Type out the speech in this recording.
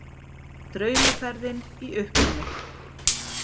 Draumaferðin í uppnámi